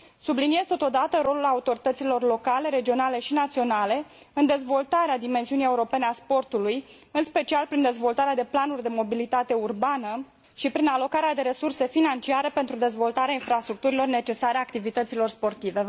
Subliniez totodată rolul autorităților locale, regionale și naționale în dezvoltarea dimensiunii europene a sporzului, în special prin dezvoltarea de planuri de mobilitate urbană și prin alocarea de resurse financiare pentru dezvoltarea infrastructurilor necesare activităților sportive.